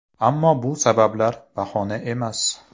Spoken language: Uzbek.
Ammo bu sabablar bahona emas.